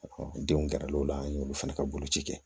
denw gɛrɛl'o la an y'olu fana ka boloci kɛ